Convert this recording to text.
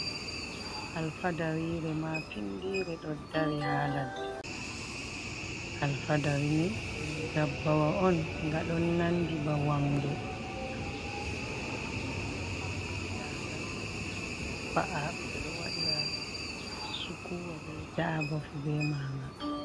Alfadariire maapinndire ɗo dari haa ladde. Alfadari ni ɗum ndabbawa on nga ɗon nanndi ba wamnde amma naa wamnde ba. Ndaanga ɗo e ɗo va’a ɓe ɗo waɗira sukuwa bee daaba fuu bee maanga.